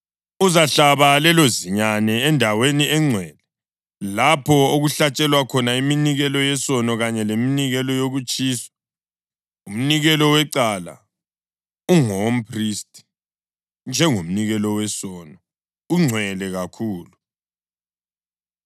Uzahlaba lelozinyane endaweni engcwele lapho okuhlatshelwa khona iminikelo yesono kanye leminikelo yokutshiswa. Umnikelo wecala ungowomphristi, njengomnikelo wesono; ungcwele kakhulu.